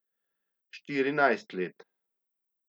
Štirinajst let.